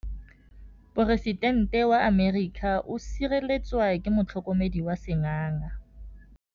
Poresitêntê wa Amerika o sireletswa ke motlhokomedi wa sengaga.